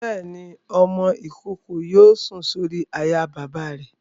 Bẹ́ẹ̀ni, ọmọ-ìkókó yóò sùn sórí àyà bàbá rẹ̀